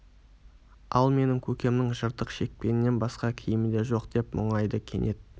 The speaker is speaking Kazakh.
ал менің көкемнің жыртық шекпенінен басқа киімі де жоқ деп мұңайды кенет